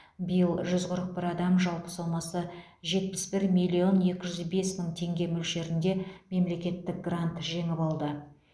биыл жүз қырық бір адам жалпы сомасы жетпіс бір миллион екі жүз бес мың теңге мөлшерінде мемлекеттік грант жеңіп алды